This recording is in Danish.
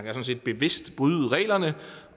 sådan set bevidst kan bryde reglerne